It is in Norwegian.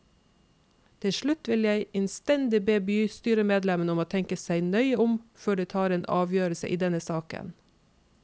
Til slutt vil jeg innstendig be bystyremedlemmene om å tenke seg nøye om før de tar en avgjørelse i denne saken.